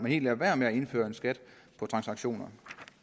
helt lader være med at indføre en skat på transaktioner